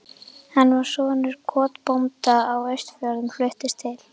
Hann var sonur kotbónda á Austfjörðum, fluttist til